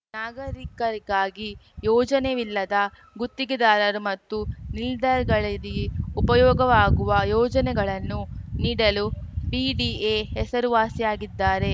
ನಾಗರಿಕರಿಗಾಗಿ ಯೋಜನವಿಲ್ಲದ ಗುತ್ತಿಗೆದಾರರು ಮತ್ತು ನಿಲ್ದಾರ್‌ಗಳಿದೆ ಉಪಯೋಗವಾಗುವ ಯೋಜನೆಗಳನ್ನು ನೀಡಲು ಬಿಡಿಎ ಹೆಸರುವಾಸಿಯಾಗಿದ್ದಾರೆ